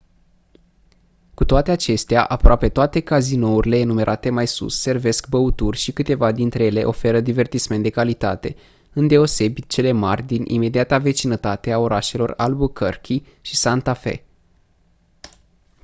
cu toate acestea aproape toate cazinourile enumerate mai sus servesc băuturi și câteva dintre ele oferă divertisment de calitate îndeosebi cele mari din imediata vecinătate a orașelor albuquerque și santa fe